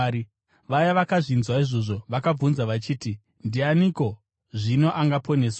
Vaya vakazvinzwa izvozvo vakabvunza vachiti, “Ndianiko zvino angaponeswa?”